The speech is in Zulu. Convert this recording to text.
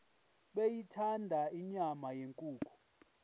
beyithanda inyama yenkukhu